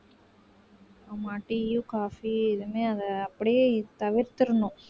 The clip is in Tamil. ஆமா tea யும் coffee எதுவுமே அதை அப்படியே தவிர்த்திடணும்